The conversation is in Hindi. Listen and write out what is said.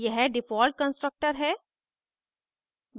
यह डिफ़ॉल्ट constructor है